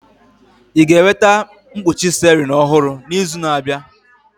Ị ga-enweta mkpuchi steering ọhụrụ n'izu na-abịa?